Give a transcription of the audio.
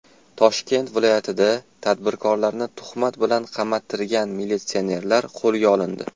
Toshkent viloyatida tadbirkorlarni tuhmat bilan qamattirgan militsionerlar qo‘lga olindi.